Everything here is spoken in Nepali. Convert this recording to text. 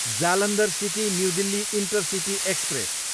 Jalandhar city, new Delhi intercity express